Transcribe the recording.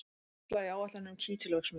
Bakslag í áætlanir um kísilverksmiðju